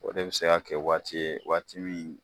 O de be se ka kɛ waati ye waati min